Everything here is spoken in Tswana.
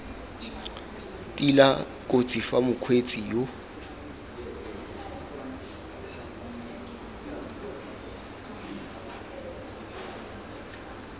tila kotsi fa mokgweetsi yo